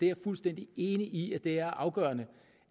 er fuldstændig enig i at det er afgørende